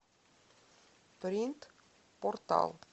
принтпортал